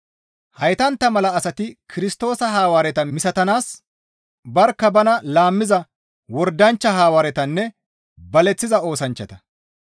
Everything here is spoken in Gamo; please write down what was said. Heytantta mala asati Kirstoosa Hawaareta misatanaas barkka bana laammiza wordanchcha Hawaaretanne baleththiza oosanchchata.